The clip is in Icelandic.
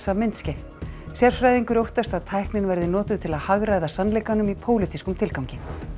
myndskeið sérfræðingur óttast að tæknin verði notuð til að hagræða sannleikanum í pólitískum tilgangi